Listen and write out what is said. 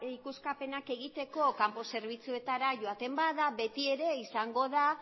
ikuskapenak egiteko kanpo zerbitzuetara joaten bada betiere izango da